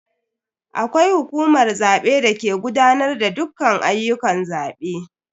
Akwai hukumar zabe dake gudanar da dukkan ayyukan zabe.